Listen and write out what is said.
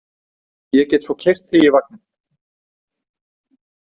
Ég get svo keyrt þig í vagninn.